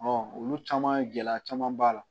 olu caman gɛlɛya caman b'a la